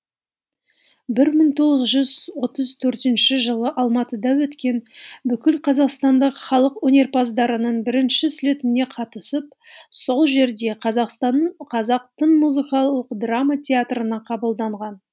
мың тоғыз жүз отыз төртінші жылы алматыда өткен бүкілқазақстандық халық өнерпаздарының бірінші слетіне қатысып сол жерде қазақтың музыкалық драма театрына қабылданған